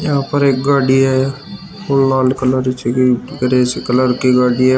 यहां पर एक गाड़ी आया और लाल कलर की कलर की गाडी आया।